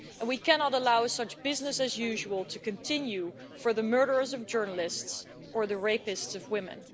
We cannot allow such business as usual' to continue for the murderers of journalists or the rapists of women.